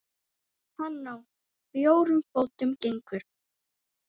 Hann á fjórum fótum gengur.